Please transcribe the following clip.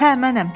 Hə, mənəm.